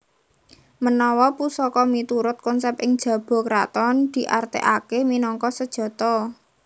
Menawa pusaka miturut konsép ing jaba karaton diartékakè minangka sejata